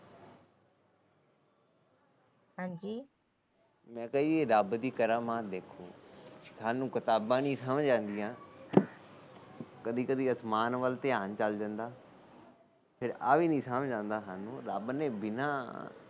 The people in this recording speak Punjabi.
ਮੈ ਕਿਹਾ ਜੀ ਰੱਬ ਦੀ ਕਰਾਮਾਤ ਦੇਖੋ ਸਾਨੂੰ ਕਿਤਾਬਾ ਨੀ ਸਮਝ ਆਂਦੀਆਂ ਫਿਰ ਕਦੀ ਕਦੀ ਆਸਮਾਨ ਵੱਲ ਧਿਆਨ ਚੱਲ ਜਾਂਦਾ ਫਿਰ ਆ ਵੀ ਨੀ ਸਮਝ ਆਦਾ ਰੱਬ ਨੇ ਬਿਨਾ